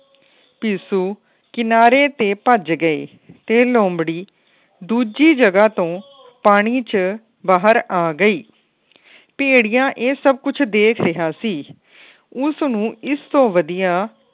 ਪਿਸੁ ਕਿਨਾਰੇ ਤੇ ਭੱਜ ਗਏ। ਤੇ ਲੋਮੜ੍ਹੀ ਦੂਜੀ ਜਗ੍ਹਾ ਤੋਂ ਪਾਣੀ ਚੋ ਬਾਹਰ ਆ ਗਈ। ਭੈਡੀਆ ਇਹ ਸਬ ਕੁੱਜ ਦੇਖ ਰਿਹਾ ਸੀ। ਉਸ ਨੂੰ ਇਸ ਤੋਂ ਵਦੀਆਂ